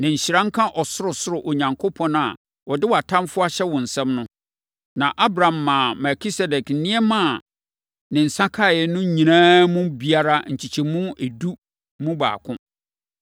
Na nhyira nka Ɔsorosoro Onyankopɔn, a ɔde wʼatamfoɔ ahyɛ wo nsam no.” Na Abram maa Melkisedek nneɛma a ne nsa kaeɛ no nyinaa mu biara nkyekyɛmu edu mu baako.